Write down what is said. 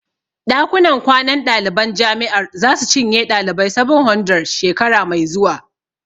Ɗakunan kwanan ɗaliban jami'ar zasu cinye ɗalibai 700, shekara mai zuwa.